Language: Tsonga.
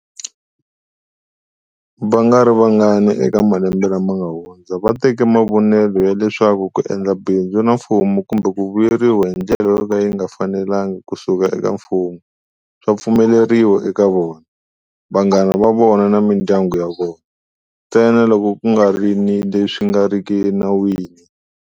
Vangarivangani eka malembe lama nga hundza va teke mavonelo ya leswaku ku endla bindzu na mfumo kumbe ku vuyeriwa hi ndlela yo ka yi nga fanelanaga ku suka eka Mfumo swa pfumeleriwa eka vona, vanghana va vona na mindyangu ya vona, ntsena loko ku nga ri ni leswi nga riki enawini.